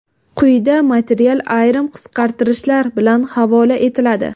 Quyida material ayrim qisqartirishlar bilan havola etiladi .